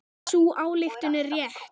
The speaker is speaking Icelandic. Sú ályktun er rétt.